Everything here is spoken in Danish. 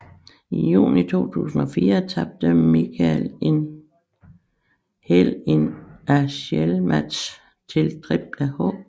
I juni 2004 tabte Michaels en Hell in a Cell match til Triple H